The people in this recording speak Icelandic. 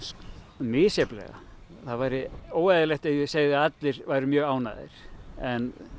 misjafnlega það væri óeðlilegt ef ég segði að allir væru mjög ánægðir en